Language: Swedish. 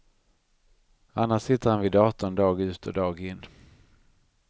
Annars sitter han vid datorn dag ut och dag in.